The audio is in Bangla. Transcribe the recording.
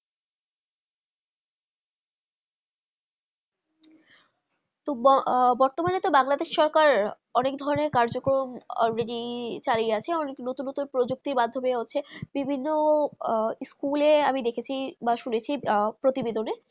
তো ববর্তমানে বাংলাদেশের সরকার অনেক ধারণে কাজ কর্ম already চালিয়ে আছে অনেক নতুন নতুন প্রযুক্তির মাধ্যমে হচ্ছে বিভিন্ন আহ স্কুলে অমি দেখেছি বা শুনেছি আহ প্রতিদিনবেদনে